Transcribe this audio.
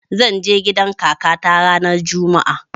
Zan je gidan kakata ranar juma'a